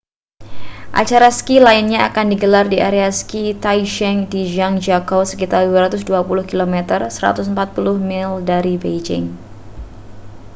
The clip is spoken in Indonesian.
acara ski lainnya akan digelar di area ski taizicheng di zhangjiakou sekitar 220 km 140 mil dari beijing